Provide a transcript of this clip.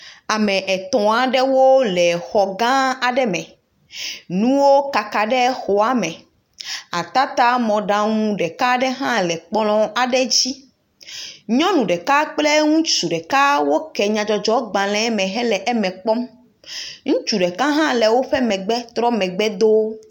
Ame etɔ̃ aɖewo le xɔ gã aɖe me. Nuwo kaka ɖe xɔa me. Atatamɔɖaŋu ɖeka ɖe hã le kplɔ̃ aɖe dzi. Nyɔnu ɖeka kple ŋutsu ɖeka woke nyadzɔdzɔgbalẽ le eme kpɔm. Ŋutsu ɖeka hã le wo megbe trɔ megbe de wo.